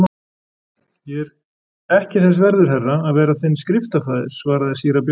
Ég er ekki þess verður herra, að vera þinn skriftafaðir, svaraði síra Björn.